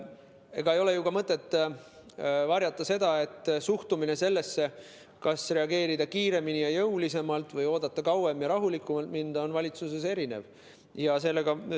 Ega ei ole ju mõtet varjata ka seda, et suhtumine sellesse, kas reageerida kiiremini ja jõulisemalt või oodata kauem ja olla rahulikum, on valitsuse liikmetel erinev.